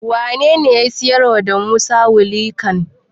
Wanene ya siyarwa da Musa wilikan?